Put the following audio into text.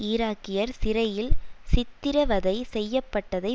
ஈராக்கியர் சிறையில் சித்திரவதை செய்ய பட்டதை